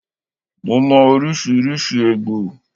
Mo mò oríṣiríṣi egbò